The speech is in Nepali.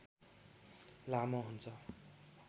लामो हुन्छ